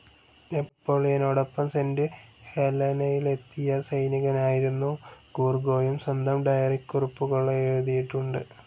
നെപോളിയനോടൊപ്പം Saint ഹേലനയിലെത്തിയ സൈനികനായിരുന്നു ഗൂർഗോയും സ്വന്തം ഡയറിക്കുറിപ്പുകളെഴുതീട്ടുണ്ട്.